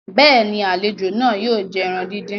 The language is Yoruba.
béèni, àlejò náà yóò jẹ ẹran dín dín.